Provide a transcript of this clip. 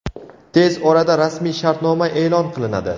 Tez orada rasmiy shartnoma e’lon qilinadi.